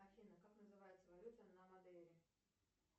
афина как называется валюта на мадейре